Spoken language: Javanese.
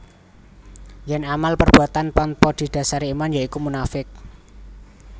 Yen amal perbuatan tanpa didasari iman ya iku munafiq